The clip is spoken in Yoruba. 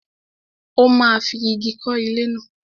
Ó máa fi ìgi kọ́ ilé náà.